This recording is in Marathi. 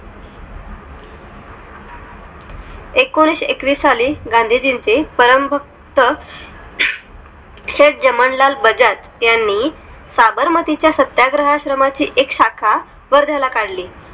एकोणीशेएकवीस साली गांधींचे परम भक्त शेठ जमनालाल बजाज यांनी साबरमती च्या सत्याग्रह आश्रमा ची एक शाखा वर्ध्या ला काढली